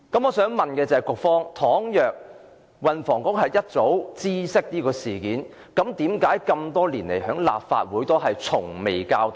我想問，如果運輸及房屋局早已知悉事件，為何這麼多年來從未曾向立法會交代？